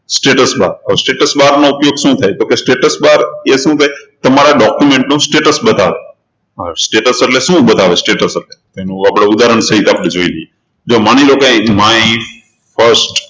status bar હવે status bar નો ઉપયોગ શું થાય તો કે status bar એ document નું status બતાવે status એટલે શું બતાવે status એનું આપણે ઉદાહરણ સહીત આપણે જોઈ લઈએ જો માની લો કે my first